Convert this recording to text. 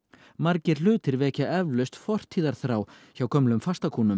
margir hlutir vekja eflaust fortíðarþá hjá gömlum